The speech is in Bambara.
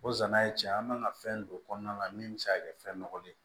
O zana ye cɛn ye an man ka fɛn don kɔnɔna la min be se ka kɛ fɛn nɔgɔlen ye